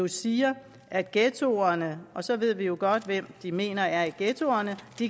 siger at ghettoerne og så ved vi jo godt hvem de mener er i ghettoerne